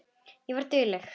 Ég var dugleg.